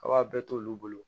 A b'a bɛɛ t'olu bolo